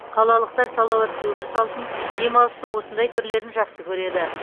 қалалықтар салауатты өмір салтын демалыстың осындай түрлерін жақсы көреді